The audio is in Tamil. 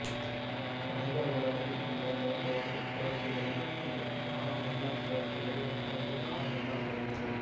மனித உடலில் உள்ள இரண்டு வகை சுரப்பிகளில் ஒன்று நாளமுள்ள சுரப்பிகள் மற்றொன்று நாளமில்லா சுரப்பிகள்